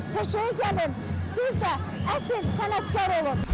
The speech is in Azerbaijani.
Peşəyə gəlin, siz də əsl sənətkar olun.